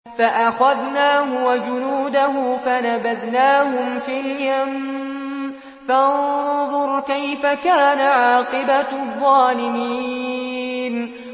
فَأَخَذْنَاهُ وَجُنُودَهُ فَنَبَذْنَاهُمْ فِي الْيَمِّ ۖ فَانظُرْ كَيْفَ كَانَ عَاقِبَةُ الظَّالِمِينَ